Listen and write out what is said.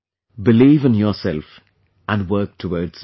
Believe in yourself and work towards it